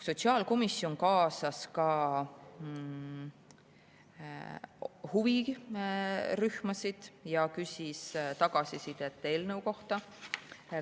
Sotsiaalkomisjon kaasas ka huvirühmasid ja küsis tagasisidet eelnõu kohta.